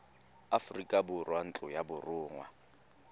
aforika borwa ntlo ya borongwa